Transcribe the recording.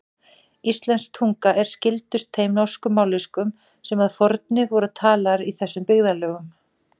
Íslensk tunga er skyldust þeim norsku mállýskum sem að fornu voru talaðar í þessum byggðarlögum.